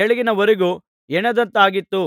ಕೆಳಗಿನವರೆಗೆ ಹೆಣೆದದ್ದಾಗಿತ್ತು